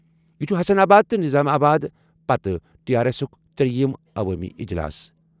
یہِ چھُ حسن آباد تہٕ نظام آباد پتہٕ ٹی آر ایسُک ترٛییِم عوٲمی اجلاس۔